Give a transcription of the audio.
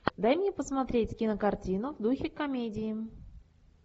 дай мне посмотреть кинокартину в духе комедии